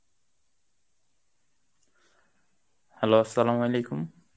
hello Arbi